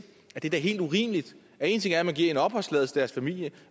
at det da er helt urimeligt en ting er at man giver opholdstilladelse til deres familier